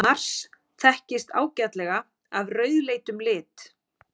Mars þekkist ágætlega af rauðleitum lit.